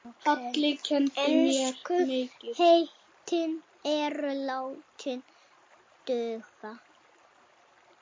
Ensku heitin eru látin duga.